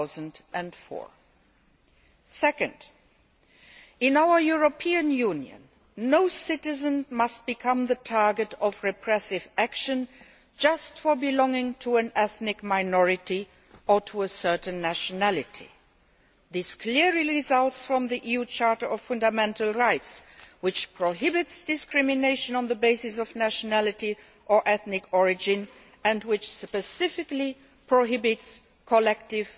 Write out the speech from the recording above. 2004. Secondly, in our European Union, no citizen must become the target of repressive action just for belonging to an ethnic minority or to a certain nationality. This is clearly set out in the EU Charter of Fundamental Rights, which prohibits discrimination on the basis of nationality or ethnic origin and which specifically prohibits collective